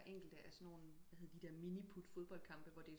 Enkelte af sådan nogen hvad hedder de der miniput fodboldkampe hvor